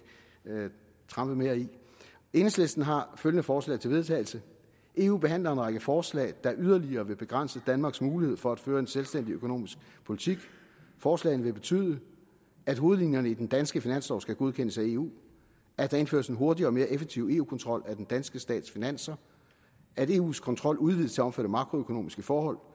trampe mere i enhedslisten har følgende forslag til vedtagelse eu behandler en række forslag der yderligere vil begrænse danmarks mulighed for at føre en selvstændig økonomisk politik forslagene vil betyde at hovedlinjerne i den danske finanslov skal godkendes af eu at der indføres en hurtigere og mere effektiv eu kontrol af den danske stats finanser at eus kontrol udvides til at omfatte makroøkonomiske forhold